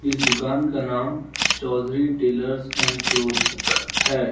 इस दुकान का नाम चौधरी टेलर्स एंड क्लोथ्स है।